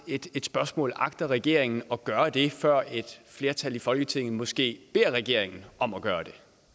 et spørgsmål agter regeringen at gøre det før et flertal i folketinget måske beder regeringen om at gøre